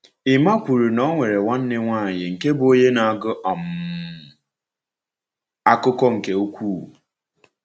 Ẹ́mma kwuru na o nwere nwanne nwanyị nke bụ onye na-agụ um akụkọ nke ukwuu.